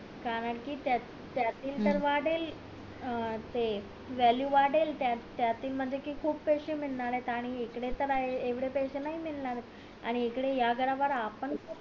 कारण कि त्यातील तर वाढेल अं ते value वाढेल त्यातील म्हणजे कि खूप पैसे मिळणार आणि इकडे त येवढे पैसे नाही मिळणार येत आणि इकडे या आपण